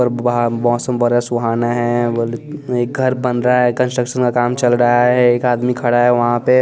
और वहाँ मौसम बड़ा सुहाना है एक घर बन रहा है कंस्ट्रक्शन का काम चल रहा है एक आदमी खड़ा है वहाँ पे--